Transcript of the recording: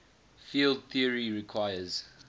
field theory requires